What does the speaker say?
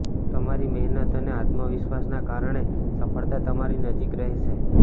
તમારી મહેનત અને આત્મવિશ્વાસના કારણે સફળતા તમારી નજીક રહેશે